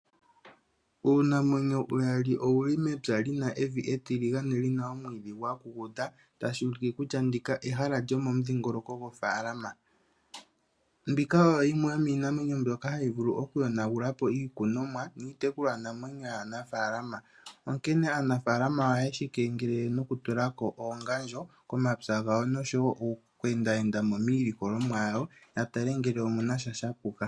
Uunamwenyo uyali owu li mepya li na evi etiligane li na omwiidhi gwa kukuta. Tashi ulike kutya ndika ehala lyomomudhingoloko gofaalama. Mbika oyo yimwe yomiinamwenyo mbyoka hayi vulu okuyonagula po iikunomwa niitekulwanamwenyo yaanafaalama, onkene aanafaalama ohaye yi keengelele nokutula ko oongandjo komapya gawo noku ende enda mo miilikolomwa yawo, ya tale ngele omu na sha sha puka.